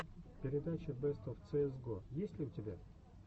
передача бест оф цеэс го есть ли у тебя